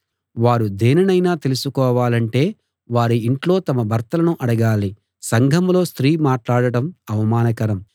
వారు దేనినైనా తెలుసుకోవాలంటే వారి ఇంట్లో తమ భర్తలను అడగాలి సంఘంలో స్త్రీ మాట్లాడడం అవమానకరం